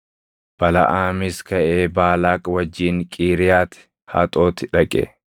Balaʼaamis kaʼee Baalaaq wajjin Qiiriyaati Haxoti dhaqe.